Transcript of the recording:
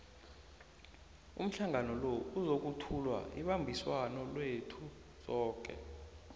umhlangano lo uzokuthula ibambiswano lethu soke